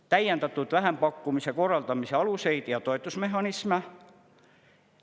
Täiendatud vähempakkumise korraldamise aluseid ja toetusmehhanisme.